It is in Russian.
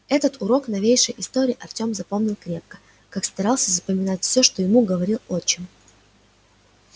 этот урок новейшей истории артём запомнил крепко как старался запоминать всё что ему говорил отчим